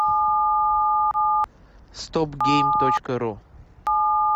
стоп гейм точка ру